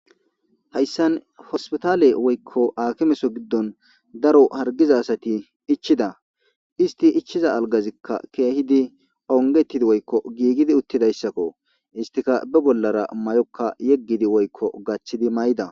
Hayisan hospitale gidon woyiko akime kethan daro harigida asati ichiza isiti ichiza aligazika onigetidi utizaysako isitika ba bollara mayoka gathidi maida